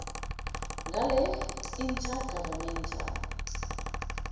ngele inter governmental